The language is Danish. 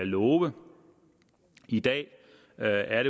love i dag er